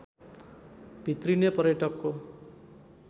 भित्रिने पर्यटकको